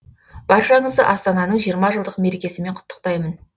баршаңызды астанының жиырма жылдық мерекесімен құттықтаймын